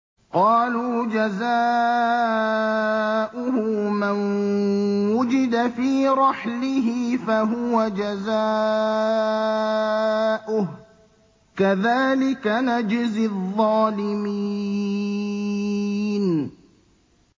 قَالُوا جَزَاؤُهُ مَن وُجِدَ فِي رَحْلِهِ فَهُوَ جَزَاؤُهُ ۚ كَذَٰلِكَ نَجْزِي الظَّالِمِينَ